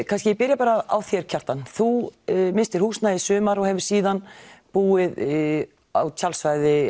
kannski ég byrji á þér Kjartan þú misstir húsnæði í sumar og hefur síðan búið á tjaldsvæði